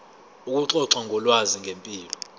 ukuxoxa ngolwazi ngempilo